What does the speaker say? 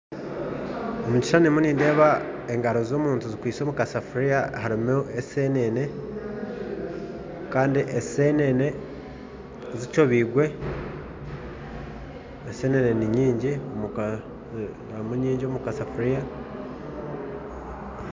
Omu kishushani nindeebamu engaro z'omuntu zikwitse omu kasafuriya karimu esenene kandi zikyobirwe kandi zirimu nyingi omu kasafuriya